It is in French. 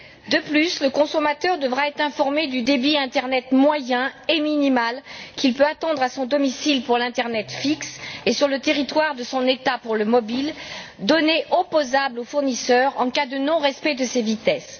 De plus, le consommateur devra être informé du débit internet moyen et minimal qu'il peut attendre à son domicile pour l'internet fixe et sur le territoire de son État pour le mobile, données opposables aux fournisseurs en cas de non respect de ces vitesses.